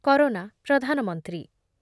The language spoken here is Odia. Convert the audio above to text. କରୋନା ପ୍ରଧାନମନ୍ତ୍ରୀ